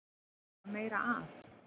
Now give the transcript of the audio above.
Er eitthvað meira að?